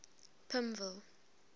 pimville